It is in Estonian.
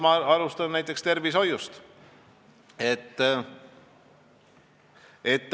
Ma alustan tervishoiust.